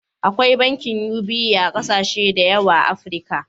Akwai bankin UBA a kasashe da yawa a Afrika.